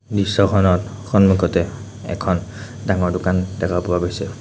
দৃশ্যখনত সন্মুখতে এখন ডাঙৰ দোকান দেখা পোৱা গৈছে।